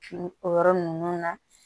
o yɔrɔ ninnu na